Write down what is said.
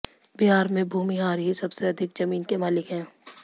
बिहार में भूमिहार ही सबसे अधिक जमीन के मालिक है